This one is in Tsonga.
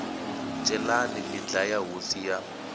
celani mi dlaya hosi ya